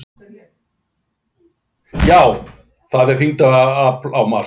Já, það er þyngdarafl á Mars!